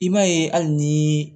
I b'a ye hali ni